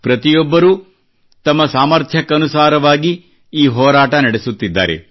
ಪ್ರತಿಯೊಬ್ಬರೂ ತಮ್ಮ ಸಾಮರ್ಥ್ಯಕ್ಕನುಸಾರವಾಗಿ ಈ ಹೋರಾಟ ನಡೆಸುತ್ತಿದ್ದಾರೆ